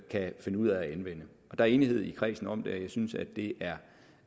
kan finde ud af at anvende der er enighed i kredsen om det og jeg synes at det